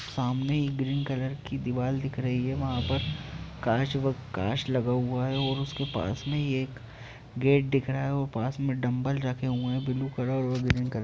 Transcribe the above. सामने एक green colour की दीवाल दिख रही है वहाँ पर कांँच व काँच लगा हुआ है और उसके पास में ही एक गेट दिख रहा है और पास में डंबल रखे हुए हैं ब्लू कलर और ग्रीन कलर --